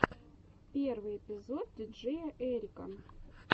первый эпизод диджеяэрика